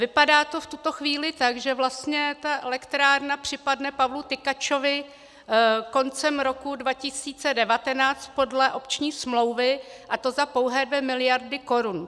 Vypadá to v tuto chvíli tak, že vlastně ta elektrárna připadne Pavlu Tykačovi koncem roku 2019 podle opční smlouvy, a to za pouhé 2 miliardy korun.